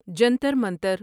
Jantar Mantar